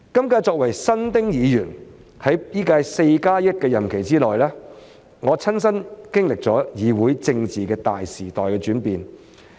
我作為新丁議員，在本屆 "4+1" 任期內，親身經歷了議會政治的大時代轉變。